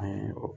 An ye